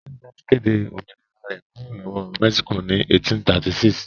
Texas kéde òmìnira rẹ̀ kúrò lọ́wọ́ Mexico ní 1836.